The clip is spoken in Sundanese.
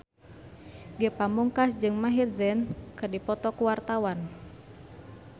Ge Pamungkas jeung Maher Zein keur dipoto ku wartawan